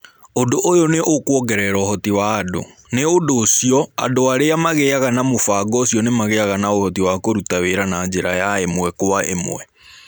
Ũndũ ũyũ nĩ ũkũongerera ũhoti wa andũ, Nĩ ũndũ ũcio, andũ arĩa magĩaga na mũbango ũcio nĩ magĩaga na ũhoti wa kũruta wĩra na njĩra ya ĩmwe kwa ĩmwe.